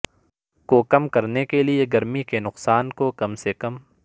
کو کم کرنے کے لئے گرمی کے نقصان کو کم سے کم